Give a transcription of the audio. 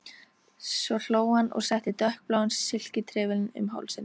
Svo hló hann og setti dökkbláan silkitrefilinn um hálsinn.